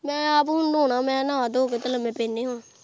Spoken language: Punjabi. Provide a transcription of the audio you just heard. ਮੈਂ ਆਪ ਹੁਣ ਨਾਉਣਾ ਤੇ ਮੈਂ ਕਿਹਾ ਨਾਹ-ਧੋ ਕੇ ਤੇ ਲੰਮੇ ਪੈਣੇ ਹੁਣ।